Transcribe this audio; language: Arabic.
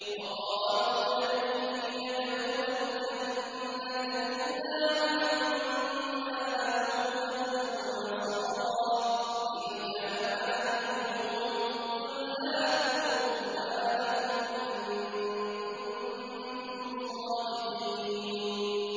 وَقَالُوا لَن يَدْخُلَ الْجَنَّةَ إِلَّا مَن كَانَ هُودًا أَوْ نَصَارَىٰ ۗ تِلْكَ أَمَانِيُّهُمْ ۗ قُلْ هَاتُوا بُرْهَانَكُمْ إِن كُنتُمْ صَادِقِينَ